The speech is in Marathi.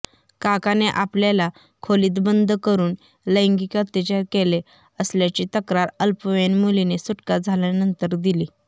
काकाने आपल्याला खोलीत बंद करुन लैंगिक अत्याचार केले असल्याची तक्रार अल्पवयीन मुलीने सुटका झाल्यानंतर दिली